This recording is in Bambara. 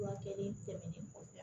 Furakɛ ni tɛmɛnen kɔ